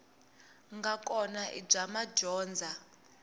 nga kona i bya madyondza